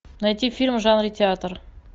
найти фильм в жанре театр